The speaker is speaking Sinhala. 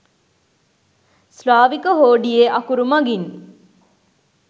ස්ලාවික හෝඩියේ අකුරු මගින්